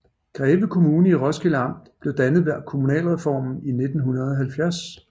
Greve Kommune i Roskilde Amt blev dannet ved kommunalreformen i 1970